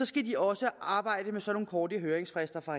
skal de også arbejde under sådanne korte høringsfrister fra